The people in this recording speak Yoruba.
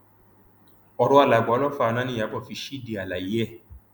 ọrọ alàgbà olófààná niyàbò fi ṣíde àlàyé ẹ